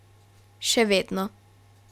Še vedno.